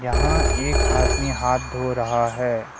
यहां एक आदमी हाथ धो रहा है।